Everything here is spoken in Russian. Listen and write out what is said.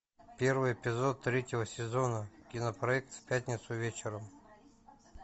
первый эпизод третьего сезона кинопроект в пятницу вечером